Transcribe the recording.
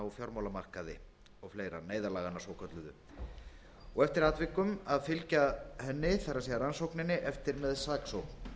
fjármálamarkaði og fleira neyðarlaganna svokölluðu og eftir atvikum að fylgja henni eftir með saksókn